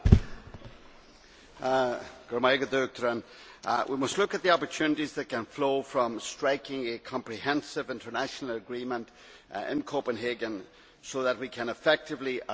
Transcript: Madam President, we must look at the opportunities that can flow from striking a comprehensive international agreement in Copenhagen so that we can effectively arrest climate change.